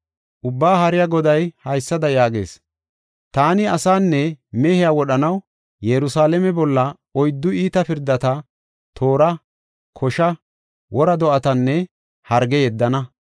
Ubbaa Haariya Goday haysada yaagees; “Taani asaanne mehiya wodhanaw Yerusalaame bolla oyddu iita pirdata: toora, kosha, wora do7atanne harge yeddana.